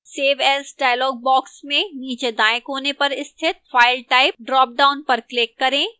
save as dialog box में नीचे दाएं कोने पर स्थित file type ड्रॉपडाउन पर click करें